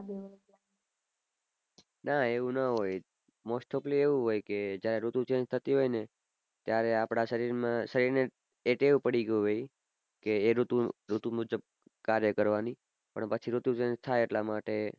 ના એવું ણ હોય most of લી એવું હોય કે જ્યાં ઋતુ change થતી હોય ને ત્યારે આપદા શરીર માં થઈ નેજ એ ટેવ પડી ગયો હોય એ ઋતુ મુજબ કાર્ય કરવાની પછી ઋતુ change થાય એટલા માટે